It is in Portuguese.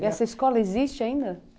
E essa escola existe ainda?